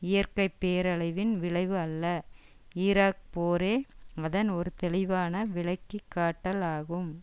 இயற்கை பேரழிவின் விளைவு அல்ல ஈராக் போரே அதன் ஒரு தெளிவான விளக்கி காட்டல் ஆகும்